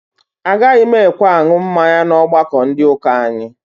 Agaghị m ekwe aṅụ mmanya n'ọgbakọ ndị ụka anyị